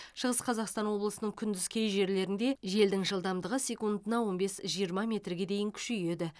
шығыс қазақстан облысының күндіз кей жерлерінде желдің жылдамдығы секундына он бес жиырма метрге дейін күшейеді